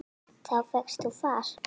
Þá fékkst þú far.